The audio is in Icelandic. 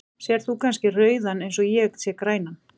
Sérð þú kannski rauðan eins og ég sé grænan?